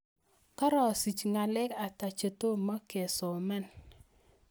Karasich ngalek ata chetomo kesoman